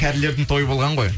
кәрілердің тойы болған ғой